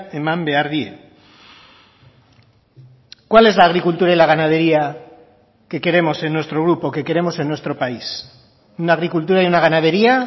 eman behar die cuál es la agricultura y la ganadería que queremos en nuestro grupo que queremos en nuestro país una agricultura y una ganadería